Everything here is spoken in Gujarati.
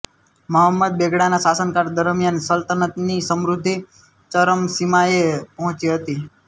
મહમદ બેગડાના શાસનકાળ દરમિયાન સલ્તનતની સમૃદ્ધિ ચરમસીમાએ પહોંચી હતી